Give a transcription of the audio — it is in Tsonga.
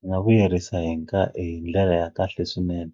Swi nga vuyerisa hi nga hi ndlela ya kahle swinene